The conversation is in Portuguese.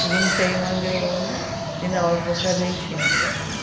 juntei uma grana e, não, eu vou para a Argentina agora.